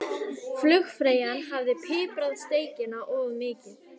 Flugfreyjan hafði piprað steikina of mikið.